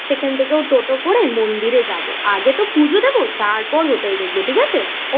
সেখান থেকে টোটো করে মন্দিরে যাবো আগে তো পুজো দেব তারপর হোটেল দেখবো ঠিক আছে?